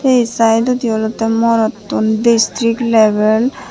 undi saedodi olodey morottun destirik level.